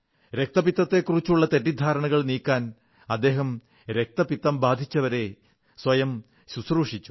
കുഷ്ഠരോഗത്തെക്കുറിച്ചുള്ള തെറ്റിദ്ധാരണകൾ നീക്കാൻ അദ്ദേഹം കുഷ്ഠരോഗികളെ സ്വയം ശുശ്രൂഷിച്ചു